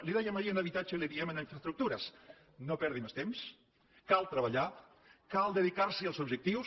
li ho dèiem ahir en habitatge i li ho diem en infraestructures no perdi més temps cal treballar cal dedicar·se als objectius